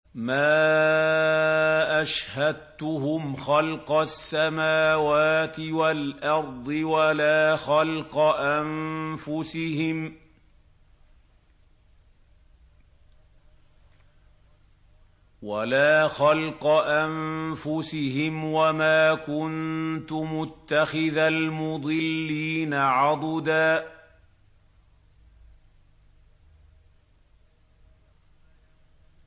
۞ مَّا أَشْهَدتُّهُمْ خَلْقَ السَّمَاوَاتِ وَالْأَرْضِ وَلَا خَلْقَ أَنفُسِهِمْ وَمَا كُنتُ مُتَّخِذَ الْمُضِلِّينَ عَضُدًا